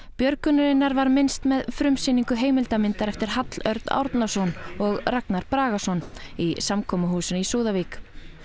björgunarinnar var minnst með frumsýningu heimildarmyndar eftir Hall Örn Árnason og Ragnar Bragason í samkomuhúsinu í Súðavík